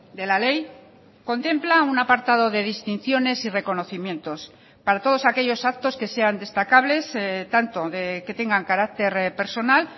de la ley contempla un apartado de distinciones y reconocimientos para todos aquellos actos que sean destacables tanto que tengan carácter personal